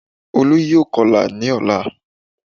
Olú yóò kọ́lá ní ọ̀la